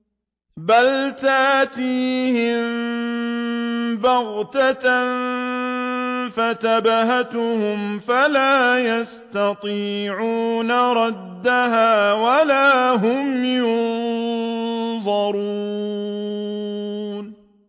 بَلْ تَأْتِيهِم بَغْتَةً فَتَبْهَتُهُمْ فَلَا يَسْتَطِيعُونَ رَدَّهَا وَلَا هُمْ يُنظَرُونَ